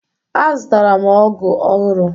Azụtara m ọgụ ọhụrụ